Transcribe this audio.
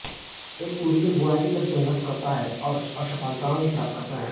एक courier boy की तरह संघर्ष करता है और असफलातायें ही प्राप्त करता है